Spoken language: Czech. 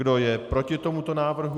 Kdo je proti tomuto návrhu?